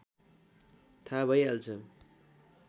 थाहा भइहाल्छ